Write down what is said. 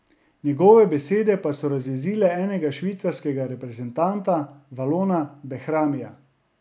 Njegove besede pa so razjezile enega švicarskega reprezentanta, Valona Behramija.